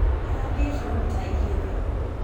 Arathiĩkiromita igĩrĩ.